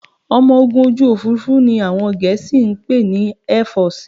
Ọmọ ogun ojú òfurufú ni àwọn Gẹ̀ẹ́sì ń pè ní Airforce